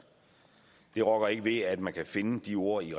det rokker ikke ved at man kan finde de ord i